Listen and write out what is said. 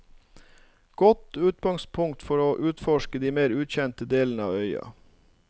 Godt utgangspunktet for å utforske de mer ukjente delene av øya.